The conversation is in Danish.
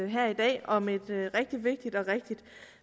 her i dag om et rigtig vigtigt og